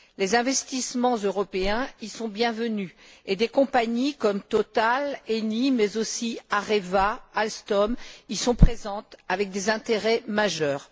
Les investissements européens y sont bienvenus et des compagnies comme Total, Eni, mais aussi Areva, Alstom y sont présentes avec des intérêts majeurs.